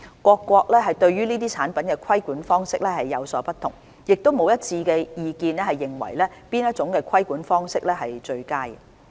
各國對這些產品的規管方式有所不同，亦沒有一致意見認為哪種規管方式為最佳。